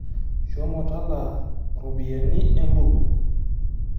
Shomo talaa ropiyani Embuku.